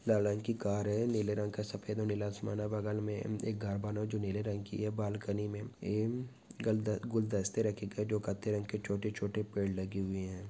लाल रंग की कर है नीले रंग का सफ़ेद और नीला आसमान है और बगल मे एक घर बना हुआ है जो नीले रंग की है बाल्कनी मे इन गल-गुलदस्त रखे गए है जो कत्थे रंग के छोटे छोटे पेड़ लगी हुई है ।